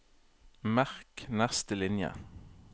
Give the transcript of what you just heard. Merk neste linje